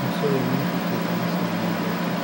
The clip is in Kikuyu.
Msuyu nĩahikite na ciana ithatũ